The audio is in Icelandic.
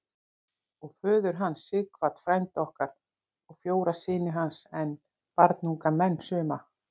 Og föður hans, Sighvat frænda okkar, og fjóra syni hans enn, barnunga menn suma.